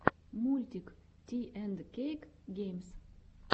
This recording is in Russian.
мультик ти энд кейк геймс